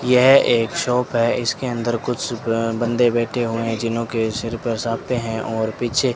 यह एक शॉप है इसके अंदर कुछ ब बंदे बैठे हुए हैं जिन्हों के सिर पर साफे हैं और पीछे --